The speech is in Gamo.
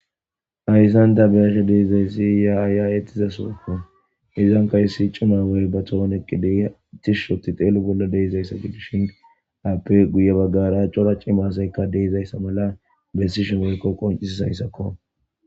ayszan da beyashe deeizayssi ya aaya ettiza sookko izankahy siicumawoy ba tohoneqqi detishshoti xeelo bolla deizaysa gidishind appe guye baggara cora cimasaykka deezayssa mala bessi shi meykko qoncisi sayssakko